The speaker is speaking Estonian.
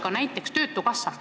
Hea rahanduskomisjoni esimees!